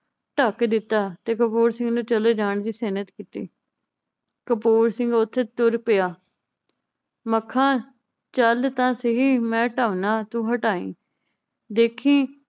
ਢੱਕ ਦਿੱਤਾ ਤੇ ਕਪੂਰ ਸਿੰਘ ਨੂੰ ਚਲੇ ਜਾਨ ਦੀ ਸੇਹਨਤ ਦਿੱਤੀ। ਕਪੂਰ ਸਿੰਘ ਓਥੇ ਤੁਰ ਪਿਆ। ਮਖਾਂ ਚੱਲ ਤਾਂ ਸਹੀ ਮੈ ਢਾਉਨਾਂ ਤੂੰ ਹਟਾਈ, ਦੇਖੀਂ